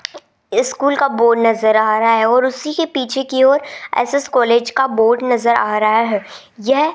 school का board नजर आ रहा है और उसीके पीछे की ओर एस_एस कॉलेज का बोर्ड नजर आ रहा है यह --